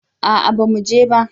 A'a na mu je ba